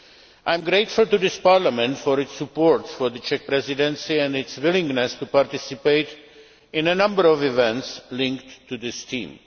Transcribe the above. I am grateful to this Parliament for its support for the Czech Presidency and its willingness to participate in a number of events linked to this theme.